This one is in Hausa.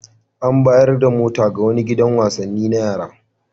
An bayar da wata mota ga wani gidan wasanni na yara.